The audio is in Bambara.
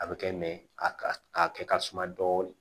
A bɛ kɛ a kɛ ka suma dɔɔnin